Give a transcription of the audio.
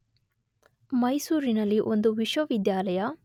ಮೈಸೂರಿನಲ್ಲಿ ಒಂದು ವಿಶ್ವವಿದ್ಯಾಲಯ